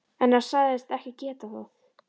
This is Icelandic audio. En hann sagðist ekki geta það.